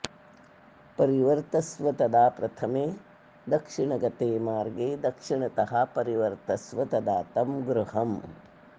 परिवर्तस्व तदा प्रथमे दक्षिणगते मार्गे दक्षिणतः परिवर्तस्व तदा तं गृहं